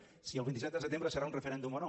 si el vint set de setembre serà un referèndum o no